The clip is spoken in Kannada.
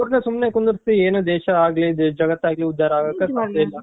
ಅವರ್ನ ಸುಮ್ನೆ ಕುಂದುರ್ಸಿ ಏನು ದೇಶ ಆಗ್ಲಿ ಜಗತ್ತು ಆಗ್ಲಿ ಉದ್ದಾರ ಆಗಾಕ